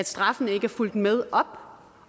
straffene ikke er fulgt med op